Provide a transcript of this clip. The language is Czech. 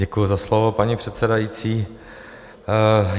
Děkuju za slovo, paní předsedající.